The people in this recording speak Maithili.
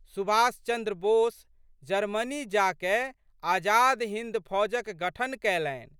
सुभाषचन्द्र बोस जर्मनी जाकए आजाद हिन्द फौजक गठन कैलनि।